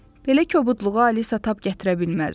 Belə kobudluğa Alisa tab gətirə bilməzdi.